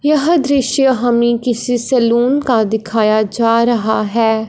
यह दृश्य हमें किसी सैलून का दिखाया जा रहा है।